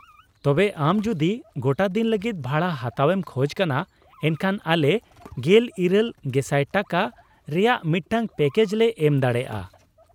-ᱛᱚᱵᱮ ᱟᱢ ᱡᱩᱫᱤ ᱜᱚᱴᱟᱫᱤᱱ ᱞᱟᱹᱜᱤᱫ ᱵᱷᱟᱲᱟ ᱦᱟᱛᱟᱣ ᱮᱢ ᱠᱷᱚᱡ ᱠᱟᱱᱟ ᱮᱱᱠᱷᱟᱱ ᱟᱞᱮ ᱑᱘,᱐᱐᱐ ᱴᱟᱠᱟ ᱨᱮᱭᱟᱜ ᱢᱤᱫᱴᱟᱝ ᱯᱮᱠᱮᱡᱽ ᱞᱮ ᱮᱢ ᱫᱟᱲᱮᱭᱟᱜᱼᱟ᱾